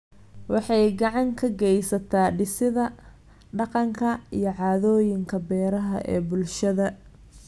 Waxay gacan ka geysataa dhisidda dhaqanka iyo caadooyinka beeraha ee bulshada.